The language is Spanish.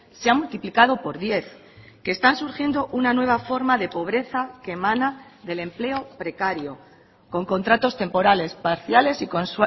se ha multiplicado por diez que están surgiendo una nueva forma de pobreza que emana del empleo precario con contratos temporales parciales y con